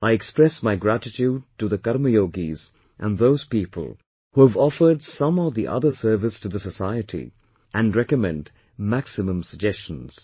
I express my gratitude to the Karma yogis and those people who have offered some or the other service to the society and recommend maximum suggestions